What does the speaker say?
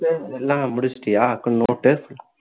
accounts ல எல்லாம் முடிச்சுட்டியா note டு